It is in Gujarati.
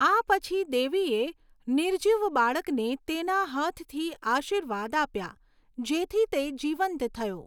આ પછી, દેવીએ નિર્જીવ બાળકને તેના હાથથી આશીર્વાદ આપ્યા, જેથી તે જીવંત થયો.